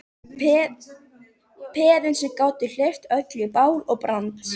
Peðin sem gátu hleypt öllu í bál og brand.